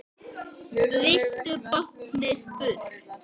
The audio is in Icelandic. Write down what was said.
Vildu báknið burt.